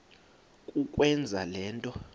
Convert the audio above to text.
kukwenza le nto